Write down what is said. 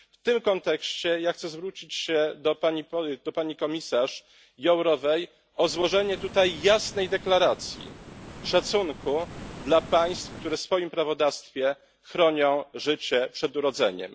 W tym kontekście ja chcę zwrócić się do pani komisarz Jourovej o złożenie tutaj jasnej deklaracji szacunku dla państw, które w swoim prawodawstwie chronią życie przed urodzeniem.